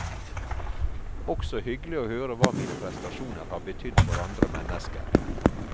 Også hyggelig å høre hva mine prestasjoner har betydd for andre mennesker.